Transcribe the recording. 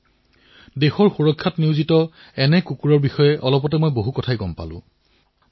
কিছুসময় পূৰ্বে মই দেশৰ সুৰক্ষাত নিয়োজিত কুকুৰৰ ভূমিকাৰ বিষয়ে বিশদভাৱে জনাৰ সুযোগ লাভ কৰিলো